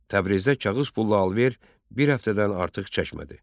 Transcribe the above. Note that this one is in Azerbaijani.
Təbrizdə kağız pulla alış-veriş bir həftədən artıq çəkmədi.